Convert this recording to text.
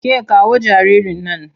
Ke kawo jaririn nan!